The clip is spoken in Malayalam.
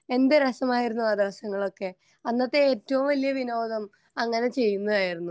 എന്ത് രസമായിരുന്നു അഹ് ദിവസങ്ങൾ ഒക്കെ അന്നത്തെ ഏറ്റവും വലിയ വിനോദം അങ്ങനെ ചെയ്യുന്നതായിരുന്നു